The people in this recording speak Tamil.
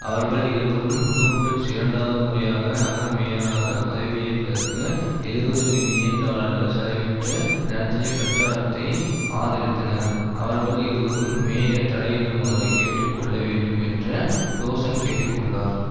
அவர்கள் இருவரும் புளூம்பேக்ஸ் இரண்டாவது முறையாக நகர மேயராக பதவியேற்பதற்கு எழுவது மில்லியன் டாலர்கள் செலவிட்டு நடத்திய பிரசாரத்தை ஆதரித்தனர் அவர்கள் இருவரும் மேயர் தலையிடுமாறு கேட்டு கொள்ள வேண்டும் என்ற டோசன் கேட்டு கொண்டார்